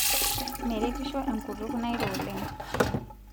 meretisho enkutuk nairo oleng